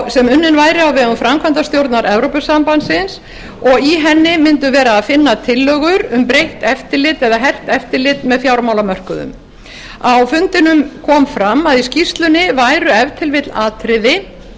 sem unnin væri á vegum framkvæmdastjórnar evrópusambandsins og í henni mundi vera að finna tillögur um breytt eftirlit eða hert eftirlit með fjármálamörkuðum á fundinum kom fram að í skýrslunni væru